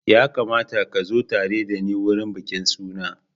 Ya kamata ka zo tare da ni wurin bikin suna.